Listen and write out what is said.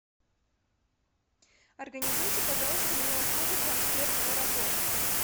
организуйте пожалуйста мне услугу трансфер в аэропорт